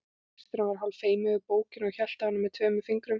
Bílstjórinn var hálf feiminn við bókina og hélt á henni með tveimur fingrum.